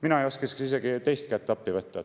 Mina ei isegi teist kätt appi võtma.